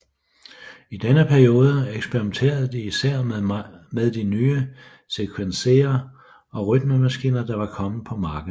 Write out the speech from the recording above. I denne periode eksperimenterede de især meget med de nye sequencere og rytmemaskiner der var kommet på markedet